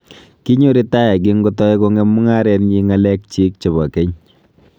Kinyo ritaya kingotai kong'em mung'arenyi ngalek chiik chebo keny